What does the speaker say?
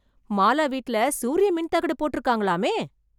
மாலா வீட்ல சூரியமின் தகடு போட்ருக்காங்கலாமே